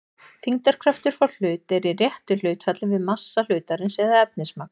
þyngdarkraftur frá hlut er í réttu hlutfalli við massa hlutarins eða efnismagn